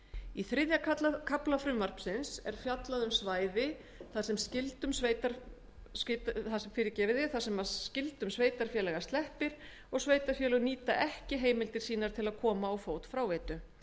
í þriðja kafla frumvarpsins er fjallað um svæði þar sem skyldum sveitarfélaga sleppir og sveitarfélög nýta ekki heimildir sínar til að koma á fót fráveitu